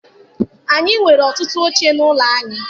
Anyị nwere ọtụtụ oche n'ụlọ anyị.